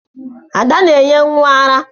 Ada na-enye nwa ara.